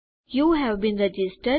you have been registered